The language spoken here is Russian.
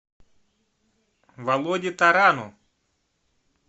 володе тарану